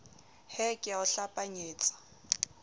he ke a o hlapanyetsa